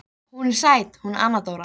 Hún er sæt hún Anna Dóra.